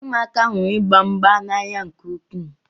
Ụmụaka hụrụ ịgba mgba n'anya nke ukwuu.